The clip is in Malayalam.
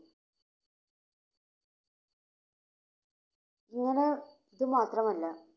ഇങ്ങിനെ, ഇത് മാത്രമല്ല